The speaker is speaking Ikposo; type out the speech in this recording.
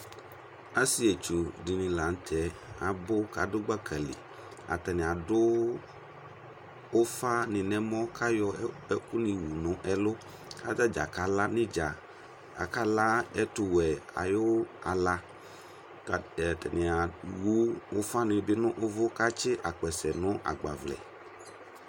Asɩetsu dɩnɩ la nʋ tɛɛ abʋ k'adʋ gbaka li; atanɩ adʋ ʋfanɩ n'ɛmɔ k'ayɔ ɛkʋnɩ wu n'ɛlʋ; katadza kala nʋ ɩdza Akala ɛtʋwɛ ayʋ ala ; ka atanɩewu ʋfanɩ nʋ ʋvʋ , k'atsɩ akpɛsɛ nʋ agbavlɛ